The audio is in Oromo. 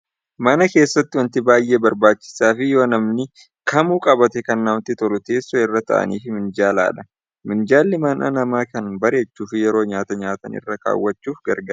Mana keessatti wanti baay'ee barbaachisaa fj yoo namni kamuuu qabaate kan namatti tolu teessoo irra taa'anii fi minjaaladha. Minjaalli mana namaa kan Bareechuu fi yeroo nyaata nyaatan irra kaawwachuuf garagaara.